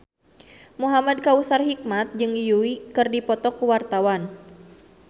Muhamad Kautsar Hikmat jeung Yui keur dipoto ku wartawan